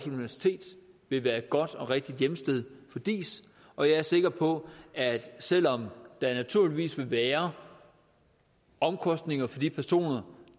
universitet vil være et godt og rigtigt hjemsted for diis og jeg er sikker på at selv om der naturligvis vil være omkostninger for de personer